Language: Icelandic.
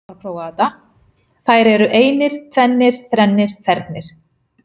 Þær eru einir, tvennir, þrennir, fernir.